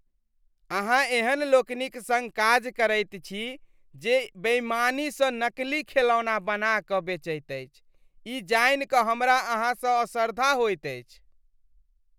अहाँ एहन लोकनिक सङ्ग काज करैत छी जे बेईमानीसँ नकली खेलौना बना कऽ बेचैत अछि, ई जानि कऽ हमरा अहाँसँ असरधा होइत अछि।